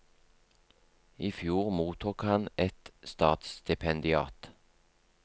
I fjor mottok han et statsstipendiat.